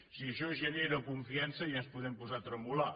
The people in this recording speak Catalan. si això genera confiança ja ens podem posar a tremolar